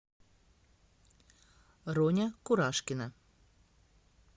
роня курашкина